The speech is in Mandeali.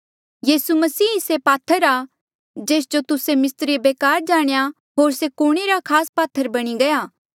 यीसू मसीह ही से पात्थर आ जेस जो तुस्से मिस्त्रिए बेकार जाणेया होर से कुण रे खास पात्थर बणी गया